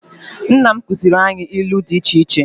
Nna m kụziere anyị ilu dị iche iche.